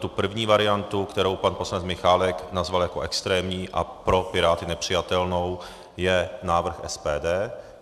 Tou první variantou, kterou pan poslanec Michálek nazval jako extrémní a pro Piráty nepřijatelnou, je návrh SPD.